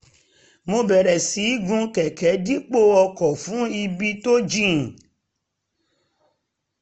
mo bẹ̀rẹ̀ sí í gun kẹ̀kẹ́ dípò ọkọ̀ fún ibi tó jìn